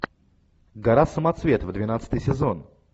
гора самоцветов двенадцатый сезон